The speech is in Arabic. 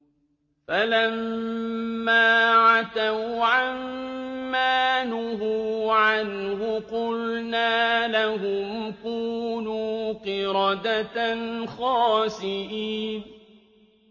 فَلَمَّا عَتَوْا عَن مَّا نُهُوا عَنْهُ قُلْنَا لَهُمْ كُونُوا قِرَدَةً خَاسِئِينَ